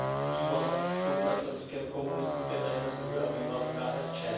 býval spolupracovníkem komunistické tajné služby a býval v KSČ.